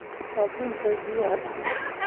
Saabuunta biyaha dax diig